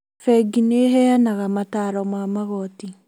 Bengi nĩheanaga mataro ma magoti